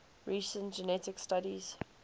recent genetic studies